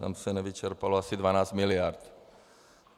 Tam se nevyčerpalo asi 12 miliard.